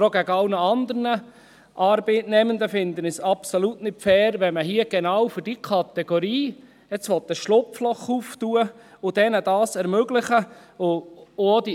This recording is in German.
Auch gegenüber allen anderen Arbeitnehmenden finde ich es absolut nicht fair, wenn man hier genau für jene Kategorie ein Schlupfloch aufmachen und ihnen dies ermöglichen will.